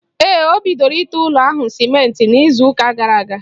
Ee, o bidoro ite ụlọ ahụ sịmentị n'izu ụka gara aga.